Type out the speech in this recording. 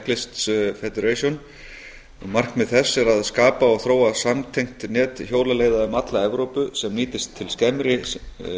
european cyclists federation markmið þess er að skapa og þróa samtengt net hjólaleiða um alla evrópu sem nýtist til skemmri